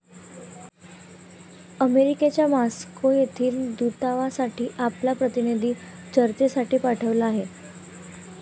अमेरिकेच्या मॉस्को येथील दूतावासाने आपला प्रतिनिधी चर्चेसाठी पाठविला आहे.